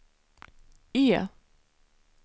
E